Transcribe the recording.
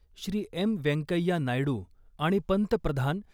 Shri. M Venkaiah Naidu आणि पंतप्रधान